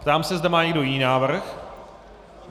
Ptám se, zda má někdo jiný návrh.